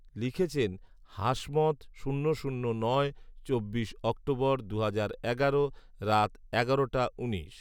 লিখেছেন হাসমত শূন্য শূন্য নয় , চব্বিশ অক্টোবর, দুহাজার এগারো, রাত এগারোটা উনিশ